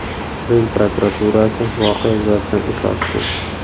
Rim prokuraturasi voqea yuzasidan ish ochdi.